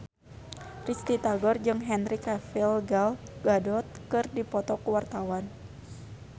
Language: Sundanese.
Risty Tagor jeung Henry Cavill Gal Gadot keur dipoto ku wartawan